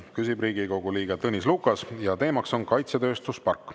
Küsib Riigikogu liige Tõnis Lukas ja teemaks on kaitsetööstuspark.